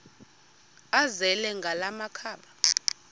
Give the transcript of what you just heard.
azele ngala makhaba